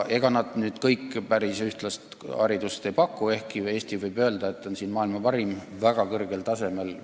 Ega nad kõik päris ühtlast haridust ei paku, ehkki võib öelda, et Eesti on selles mõttes maailma parim, väga kõrgel tasemel.